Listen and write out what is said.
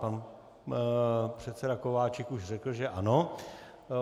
Pan předseda Kováčik už řekl, že ano.